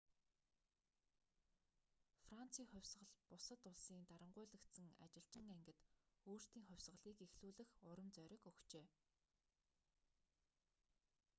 францын хувьсгал бусад улсын дарангуйлагдсан ажилчин ангид өөрсдийн хувьсгалыг эхлүүлэх урам зориг өгчээ